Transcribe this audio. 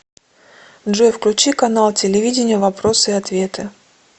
джой включи канал телевидения вопросы и ответы